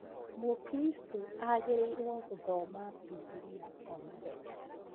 Mũkristo agĩrĩirwo gũthoma Bibilia omũthenya